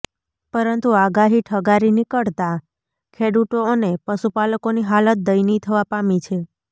પરંતુ આગાહી ઠગારી નીકળતાં ખેડૂતો અને પશુપાલકોની હાલત દયનીય થવા પામી છે